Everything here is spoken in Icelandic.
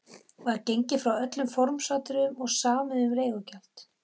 Var gengið frá öllum formsatriðum og samið um leigugjald.